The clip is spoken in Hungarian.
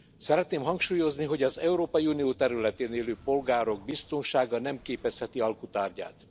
Szeretném hangsúlyozni, hogy az Európai Unió területén élő polgárok biztonsága nem képezheti alku tárgyát.